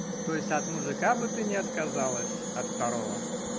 то есть от мужика бы ты не отказалась от второго